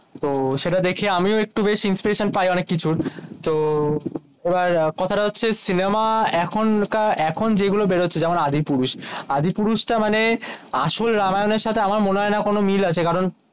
তো সেটা দেখে আমিও একটু বেশ inspiration পাই অনেক কিছুর তো এবার কথা তা হচ্ছে সিনেমা এখনকার এখন যেই গুলো বেরোচ্ছে যেমন আদিপুরুষ আদিপুরুষ তা মানে আসল রামায়ণ সাথে আমার মনে হয়না কোনো মিল আছে